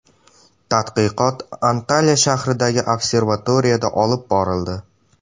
Tadqiqot Antalya shahridagi observatoriyada olib borildi.